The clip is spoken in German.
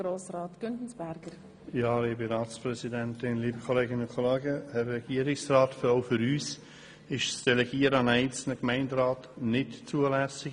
Auch für uns ist das Delegieren an einen einzelnen Gemeinderat nicht zulässig.